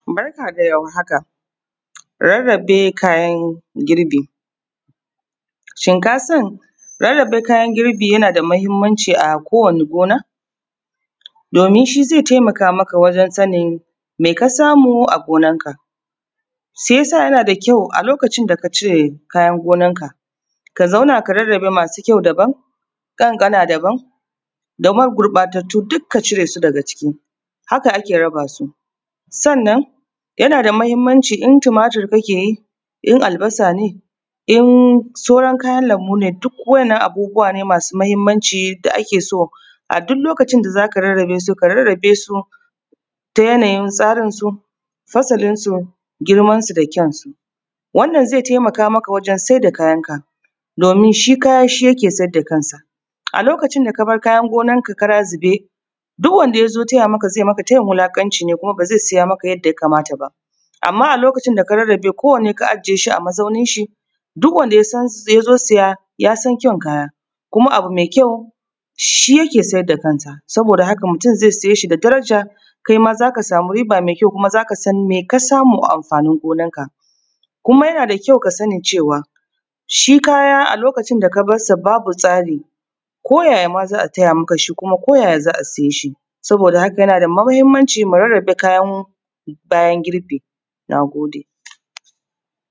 Barka da warhaka. Rarrabe kayan girbi, shin kasan rarrabe kayan girbi yana da mahinmanci a kowani gona? Domin shi ze taimaka mata wajen sanin me ka samu a gonan ka, se yasa yana da kyau a lokacin da ka cire kayan gonanka ka zauna ka rarrabe masu kyau daban, ƙanƙana daban daman gurɓatattu duk ka cire su daga ciki, haka ake raba su sannan yana da mahinmanci in tumatir kake yi in albasa ne in soran kayan lambu ne duk waɗanan abubuwa ne masu mahinmanci da ake so a duk lokacin da za ka rarrabe su ka rarrabe su ta yanayin tsarin su, fasalin su, girman su da kyan su. Wannan ze taimaka maka wajen sai da kayan ka domin shi kaya shi yake siyar da kansa a lokacin da ka bar kayan gonanka karazube, duk wanda ya zo taya maka ze maka tayin wulaƙanci kuma ba ze siya maka yanda yakamata ba. Amma a lokacin da ka rarrabe ko wanne ka ajiye shi a mazaunin shi duk wanda ya zo siya ya san kyan kaya kuma abu me kyau shi yake siyar da kansa, saboda haka mutum ze saye shi da daraja kai ma za ka samu riba me kyau, kuma za ka san me ka samu a amfanin gonanka, kuma yana da kyau ka sani cewa shi kaya a lokacin da ba sa babu tsari ko yayama za a taya masa shi, kuma ko yaya za a siye shi saboda haka yanada mahinmanci mu riƙa rarrabe kayan mu bayan girbi. Na gode.